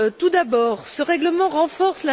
Tout d'abord, ce règlement renforce